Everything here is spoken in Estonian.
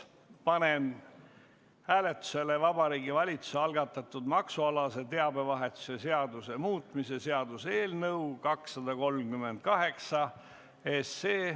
Panen hääletusele Vabariigi Valitsuse algatatud maksualase teabevahetuse seaduse muutmise seaduse eelnõu 238.